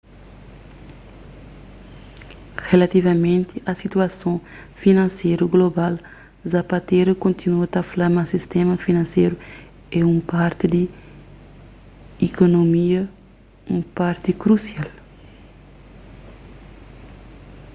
rilativamenti a situason finanseru global zapatero kontinua ta fla ma sistéma finanseru é un parti di ikunomia un parti krusial